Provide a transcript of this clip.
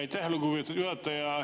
Aitäh, lugupeetud juhataja!